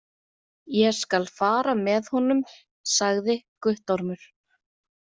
Ég skal fara með honum, sagði Guttormur.